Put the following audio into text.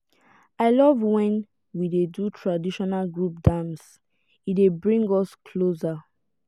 i love when we dey do traditional group dance e dey bring us closer.